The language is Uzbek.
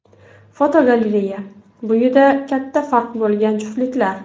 Fotogalereya: Bo‘yida katta farq bo‘lgan juftliklar.